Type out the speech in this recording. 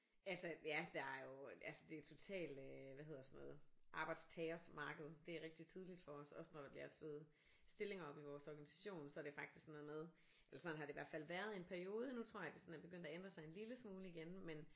Altså ja der er jo altså det er total øh hvad hedder sådan noget arbejdstagers marked det er rigtig tydeligt for os også når der bliver slået stillinger op i vores organisation så er det faktisk sådan noget med eller sådan har det i hvert fald været i en periode nu tror jeg det sådan er begyndt at ændre sig en lille smule igen men